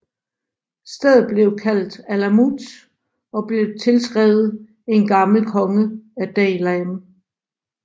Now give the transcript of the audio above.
Stedet blev kaldt Alamut og blev tilskrevet til en gammel konge af Daylam